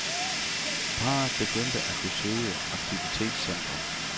Parret begyndte at besøge aktivitetscentret.